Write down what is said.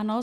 Ano.